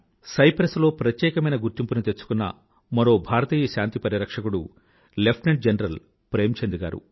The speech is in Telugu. సైప్రస్ లో ప్రత్యేకమైన గుర్తింపుని తెచ్చుకున్న మరో భారతీయ శాంతి పరిరక్షకుడు లెఫ్టెనెంట్ జనరల్ ప్రేమ్ చంద్ గారు